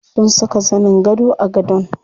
Sun saka zanin gado a gadon.